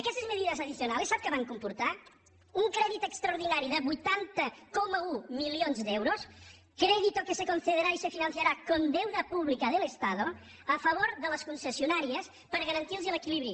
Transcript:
aquestes medidas adicionales saben què van comportar un crèdit extraordinari de vuitanta coma un milions d’euros crédito que se concederá y se financiará con deuda pública del estado a favor de les concessionàries per garantir los l’equilibri